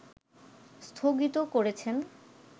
স্থগিত করেছেন